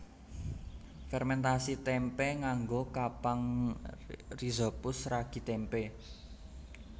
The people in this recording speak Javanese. Fermèntasi témpé nganggo kapang rhizopus ragi tempe